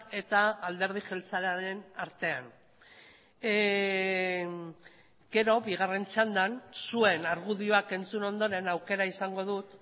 eta alderdi jeltzalearen artean gero bigarren txandan zuen argudioak entzun ondoren aukera izango dut